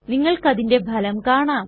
നിങ്ങൾക്കതിന്റെ ഫലം കാണാം